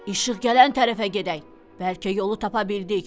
İşıq gələn tərəfə gedək, bəlkə yolu tapa bildik.